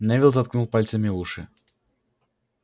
невилл заткнул пальцами уши